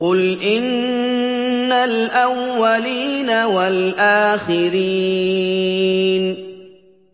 قُلْ إِنَّ الْأَوَّلِينَ وَالْآخِرِينَ